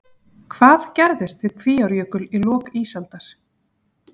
Hvað gerðist við Kvíárjökul í lok ísaldar?